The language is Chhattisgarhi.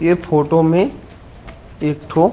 ये फोटो में एक ठो--